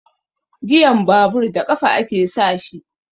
Giyan babur da ƙafa ake sa shi.